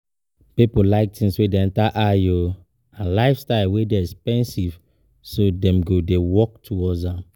Pipo like things wey de enter eye and lifestyle wey de expensive so dem go de work towards am